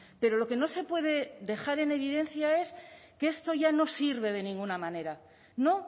pero lo que no se puede dejar en evidencia es que esto ya no sirve de ninguna manera no